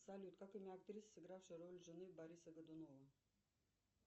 салют как имя актрисы сыгравшей роль жены бориса годунова